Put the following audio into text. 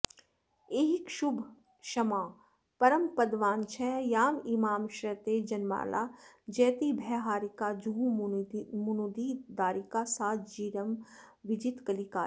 ऐहिकशुभाशमा परमपदवाञ्छया यामिमां श्रयति जनमाला जयति भयहारिका जहुमुनिदारिका सा चिरं विजितकलिकाला